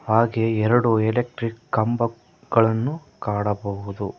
ಹಾಗೆ ಎರಡು ಎಲೆಕ್ಟ್ರಿಕ್ ಕಂಬಗಳನ್ನು ಕಾಣಬಹುದು.